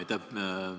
Aitäh!